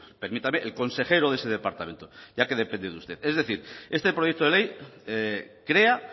permítame el consejero de ese departamento ya que depende de usted es decir este proyecto de ley crea